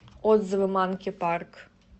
отзывы манки парк